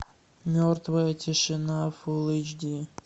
мертвая тишина фул эйч ди